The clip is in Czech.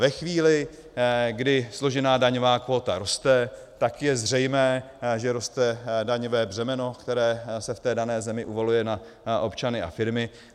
Ve chvíli, kdy složená daňová kvóta roste, tak je zřejmé, že roste daňové břemeno, které se v té dané zemi uvaluje na občany a firmy.